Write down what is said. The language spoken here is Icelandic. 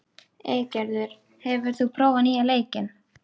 Eygerður, hefur þú prófað nýja leikinn?